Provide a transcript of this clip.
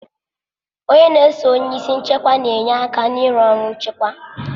Onye n'eso onye isi nchịkwa na enye aka ịrụ ọrụ nchịkwa